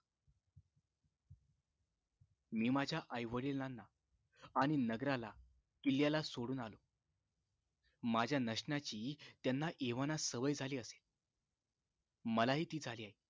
मी माझ्या आई वडिलांना आणि नगराला किल्ल्याला सोडून आलो माझ्या नसण्याची त्यांना एव्हाना सवय झाली असेल मला हि ती झाली आहे